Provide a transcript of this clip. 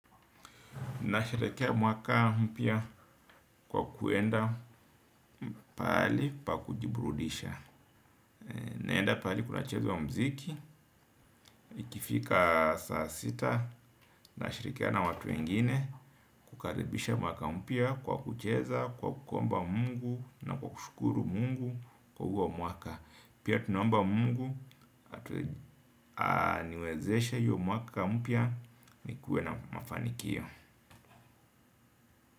Nasherekea mwaka mpya kwa kuenda pahali pa kujiburudisha. Naenda pahali kunachezwa mziki, ikifika saa sita, nashirikiana na watu wengine kukaribisha mwaka mpya kwa kucheza, kwa kuomba mungu na kwa kushukuru mungu kwa huwo mwaka. Pia tunaomba mungu, aniwezeshe hiyo mwaka mpya nikuwe na mafanikio.